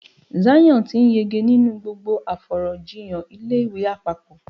Zion ti n yege ninu gbogbo afọ̀rọ̀jíyàn ilé ìwé àpapọ̀.